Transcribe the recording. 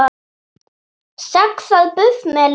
Saxað buff með lauk